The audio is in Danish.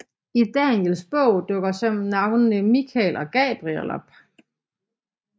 I Daniels bog dukker så navnene Mikael og Gabriel op